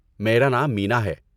میرا نام مینا ہے۔